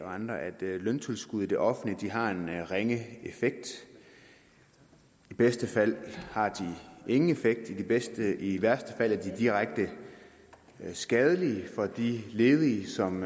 og andre at løntilskud i det offentlige har en ringe effekt i bedste fald har de ingen effekt i værste i værste fald er de direkte skadelige for de ledige som